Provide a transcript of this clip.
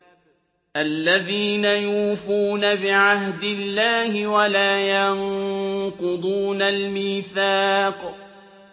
الَّذِينَ يُوفُونَ بِعَهْدِ اللَّهِ وَلَا يَنقُضُونَ الْمِيثَاقَ